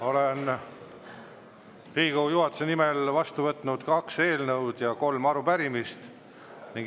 Olen Riigikogu juhatuse nimel vastu võtnud kaks eelnõu ja kolm arupärimist.